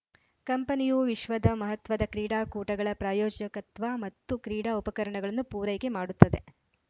ಕಂಪನಿಯು ವಿಶ್ವದ ಮಹತ್ವದ ಕ್ರೀಡಾಕೂಟಗಳ ಪ್ರಾಯೋಜಕತ್ವ ಮತ್ತು ಕ್ರೀಡಾ ಉಪಕರಣಗಳನ್ನು ಪೂರೈಕೆ ಮಾಡುತ್ತದೆ